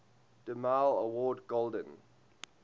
demille award golden